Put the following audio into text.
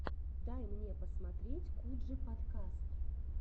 дай мне посмотреть куджи подкаст